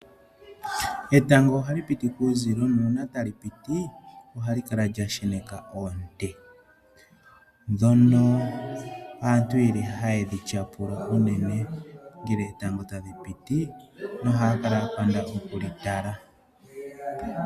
Etango ohali piti kuuzilo nuuna talipiti ohalikala lyasheneka oonte ndhono aantu yeli hayedhi tyapula unene ngele etango talipitii nohaakala yapanda okulitala.